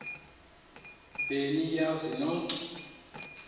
be niyazi nonk